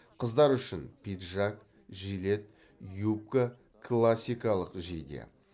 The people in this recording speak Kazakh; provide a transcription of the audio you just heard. қыздар үшін пиджак жилет юбка классикалық жейде